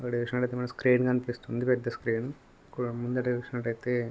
ఇక్కడ చూసినట్టయితే మనకి స్క్రీన్ కనిపిస్తుంది పెద్ద స్క్రీన్ అక్కడ ముందట చూసినట్టయితే --